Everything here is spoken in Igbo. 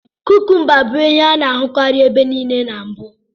Kukumba bụ ihe a na-ahụkarị ebe nile na mbụ.